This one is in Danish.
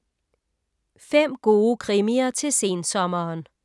5 gode krimier til sensommeren